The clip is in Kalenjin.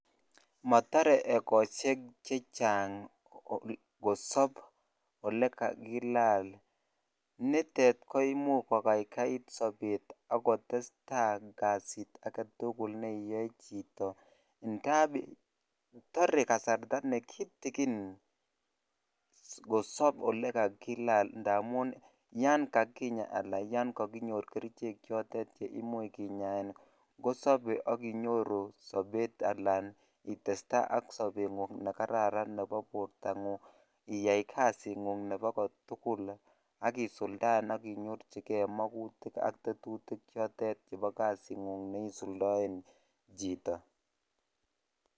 Motore ekoshek chechang olekakilal, nitet koimuch ko kaikait sobet akkotesta kasit aketukul neiyoe chito ng'ab toree kasarta nekitikin kosob olekakilal amun yoon kakinya alaa yoon kokinyor kerichek chotet cheimuch kinyaen kosobe ak inyoru sobet alaan itesta ak sobengung nekararan nebo bortang'ung iyai kasingung nebo kotukul ak isuldaen ak inyorchike makutik ak tetutik chotet nebo kasing'ung neisuldoen chito.